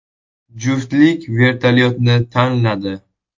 Juftlik vertolyotni tanladi.